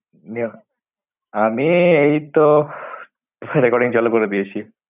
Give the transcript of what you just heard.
আমি এইতো recording চালু করে দিয়েছি।